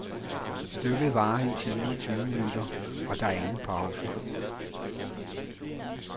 Stykket varer en time og tyve minutter, og der er ingen pause.